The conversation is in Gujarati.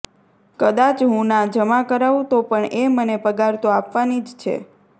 કદાચ હું ના જમા કરાવું તો પણ એ મને પગાર તો આપવાની જ છે